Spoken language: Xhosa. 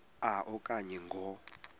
a okanye ngo